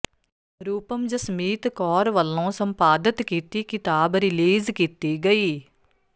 ਰੂਪਮ ਜਸਮੀਤ ਕੌਰ ਵੱਲੋਂ ਸੰਪਾਦਤ ਕੀਤੀ ਕਿਤਾਬ ਰਿਲੀਜ਼ ਕੀਤੀ ਗਈ